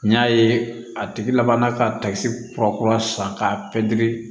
N y'a ye a tigi laban na ka takisi kura kura san k'a pɛntiri